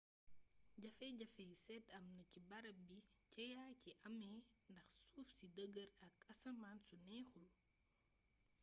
jafe-jafey seet amna ci barab bi jéeya ji amee ndax suuf su dêgër ak asmaan su neexul